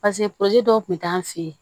paseke purusiki dɔw kun t'an fe ye